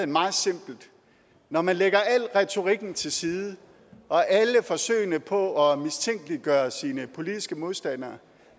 meget simpelt når man lægger al retorikken til side og alle forsøgene på at mistænkeliggøre sine politiske modstandere